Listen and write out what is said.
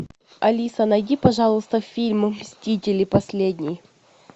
алиса найди пожалуйста фильм мстители последний